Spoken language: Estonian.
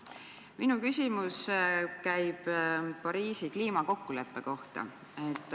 Minu küsimus käib Pariisi kliimakokkuleppe kohta.